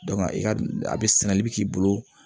i ka a be sɛnɛli bi k'i bolo